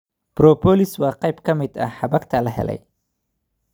Propolis waa qayb ka mid ah xabagta la helay